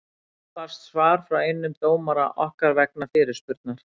Í dag barst svar frá einum dómara okkar vegna fyrirspurnar.